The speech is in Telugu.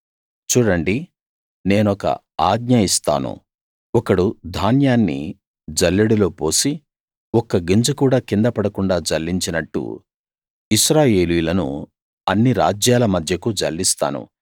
చూడండి నేనొక ఆజ్ఞ ఇస్తాను ఒకడు ధాన్యాన్ని జల్లెడలో పోసి ఒక్క గింజ కూడా కింద పడకుండా జల్లించినట్టు ఇశ్రాయేలీయులను అన్ని రాజ్యాల మధ్యకు జల్లిస్తాను